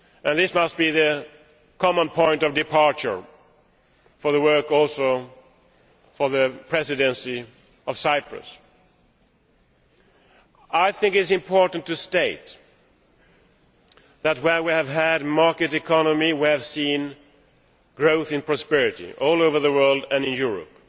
This must be the common point of departure for the work of the Presidency of Cyprus. I think it is important to state that, where we have had a market economy, we have seen an increase in prosperity all over the world and in Europe.